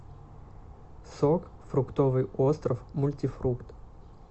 сок фруктовый остров мультифрукт